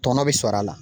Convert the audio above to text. Tɔnɔ bɛ sɔrɔ a la